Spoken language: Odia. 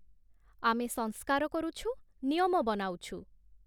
ଆମେ ସଂସ୍କାର କରୁଛୁ, ନିୟମ ବନାଉଛୁ ।